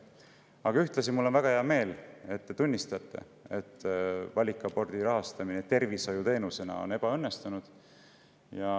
Aga ühtlasi on mul väga hea meel, et te tunnistate, et valikabordi rahastamine tervishoiuteenusena on ebaõnnestunud.